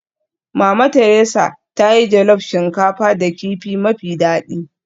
Mama Theresa ta yi jollof shinkafa da kifi mafi daɗi